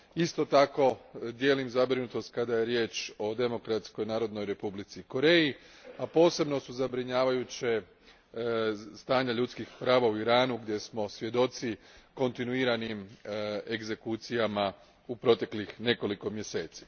Isto tako, dijelim zabrinutost kada je riječ o Demokratskoj Narodnoj Republici Koreji, a posebno su zabrinjavajuća stanja ljudskih prava u Iranu, gdje smo svjedoci kontinuiranim egzekucijama u proteklih nekoliko mjeseci.